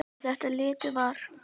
Um þetta leyti var